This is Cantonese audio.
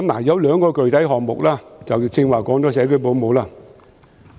有兩個具體項目，剛才說了社區保姆。